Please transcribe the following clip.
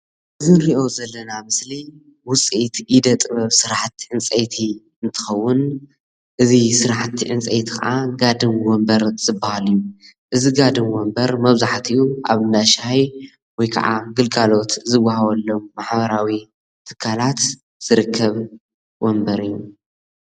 እዚ ንሪኦ ዘለና ምስሊ ዉፅኢት ኢደ ጥበብ ስራሕቲ ዕንፀይቲ እንትከዉን እዚ ስራሕቲ ዕንፀይቲ ከዓ ጋድም ወምበር ዝበሃል እዩ ። እዚ ጋድም ወምበር መብዛሕቲኡ ኣብ እንዳ ሻሂ ወይ ከዓ ግልጋሎት ዝወሃበሎም ማሕበራዊ ትካላት ዝርከብ ወምበር እዩ።